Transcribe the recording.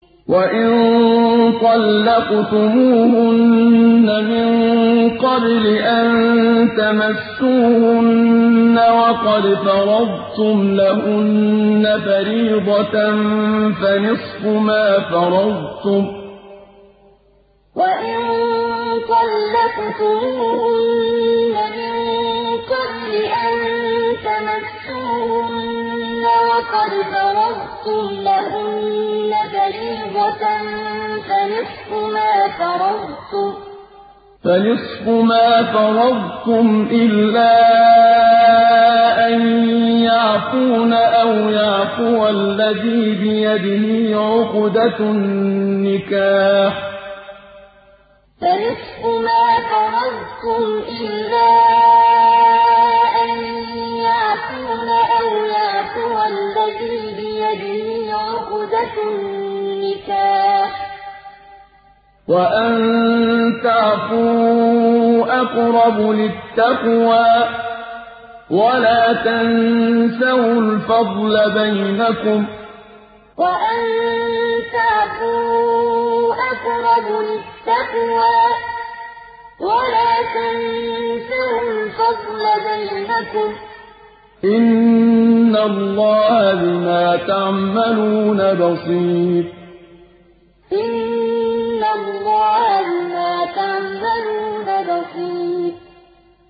وَإِن طَلَّقْتُمُوهُنَّ مِن قَبْلِ أَن تَمَسُّوهُنَّ وَقَدْ فَرَضْتُمْ لَهُنَّ فَرِيضَةً فَنِصْفُ مَا فَرَضْتُمْ إِلَّا أَن يَعْفُونَ أَوْ يَعْفُوَ الَّذِي بِيَدِهِ عُقْدَةُ النِّكَاحِ ۚ وَأَن تَعْفُوا أَقْرَبُ لِلتَّقْوَىٰ ۚ وَلَا تَنسَوُا الْفَضْلَ بَيْنَكُمْ ۚ إِنَّ اللَّهَ بِمَا تَعْمَلُونَ بَصِيرٌ وَإِن طَلَّقْتُمُوهُنَّ مِن قَبْلِ أَن تَمَسُّوهُنَّ وَقَدْ فَرَضْتُمْ لَهُنَّ فَرِيضَةً فَنِصْفُ مَا فَرَضْتُمْ إِلَّا أَن يَعْفُونَ أَوْ يَعْفُوَ الَّذِي بِيَدِهِ عُقْدَةُ النِّكَاحِ ۚ وَأَن تَعْفُوا أَقْرَبُ لِلتَّقْوَىٰ ۚ وَلَا تَنسَوُا الْفَضْلَ بَيْنَكُمْ ۚ إِنَّ اللَّهَ بِمَا تَعْمَلُونَ بَصِيرٌ